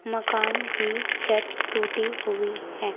मकान की छत टूटी हुई है।